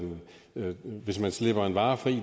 hvis man slipper en vare fri